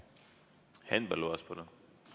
Henn Põlluaas, palun!